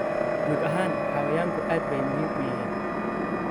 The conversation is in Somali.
Guud ahaan, xayawaanku aad bay muhiim u yihiin.